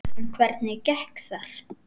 En hvernig gekk þar?